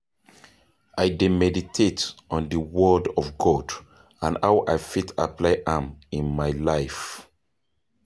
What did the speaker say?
i dey meditate on di word of God and how i fit apply am in my life.